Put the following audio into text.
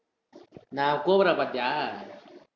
நா~ கோப்ரா பாத்தியா